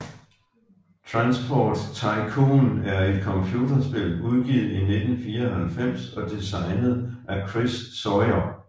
Transport Tycoon er et computerspil udgivet i 1994 og designet af Chris Sawyer